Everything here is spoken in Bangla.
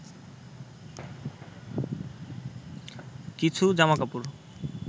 কিছু জামাকাপড়